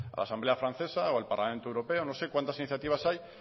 la asamblea francesa o al parlamento europeo no sé cuántas iniciativas hay